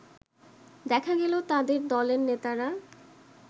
দেখা গেল তাদের দলের নেতারা